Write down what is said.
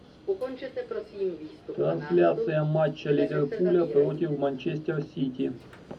трансляция матча ливерпуля против манчестер сити